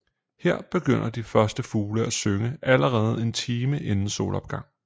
Her begynder de første fugle at synge allerede en time inden solopgang